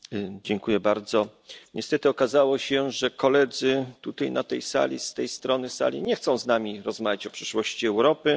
Panie Przewodniczący! Niestety okazało się, że koledzy tutaj na tej sali, z tej strony sali nie chcą z nami rozmawiać o przyszłości Europy.